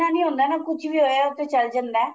ਇੰਨਾ ਨਹੀਂ ਹੁੰਦਾ ਨਾ ਕੁੱਝ ਵੀ ਹੋਇਆ ਉਹ ਤੇ ਚੱਲ ਜਾਂਦਾ